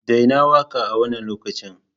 Daina waƙa a wannan lokacin!